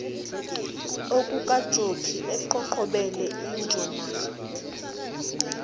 okukajokhi eqhoqhobele injomane